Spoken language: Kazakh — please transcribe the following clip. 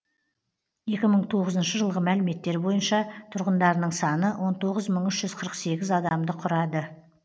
екі мың тоғызыншы жылғы мәліметтер бойынша тұрғындарының саны он тоғыз мың үш жүз қырық сегіз адамды құрады